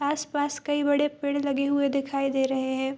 आसपास कई बड़े पेड़ लगे हुए दिखाई दे रहें हैं।